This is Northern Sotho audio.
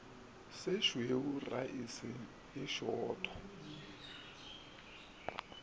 se šweu raese e sootho